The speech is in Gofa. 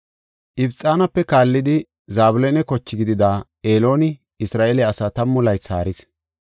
Ibxanape kaallidi Zabloona koche gidida Elooni Isra7eele asaa tammu laythi haaris.